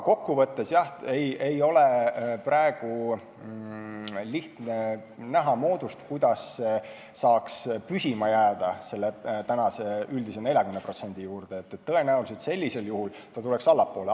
Kokku võttes ei ole praegu lihtne näha moodust, kuidas saaks püsima jääda selle üldise 40% juurde, tõenäoliselt sellisel juhul ta tuleks allapoole.